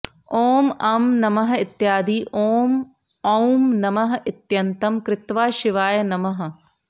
ॐ अं नमः इत्यादि ॐ औं नमः इत्यन्तं कृत्वा शिवाय नमः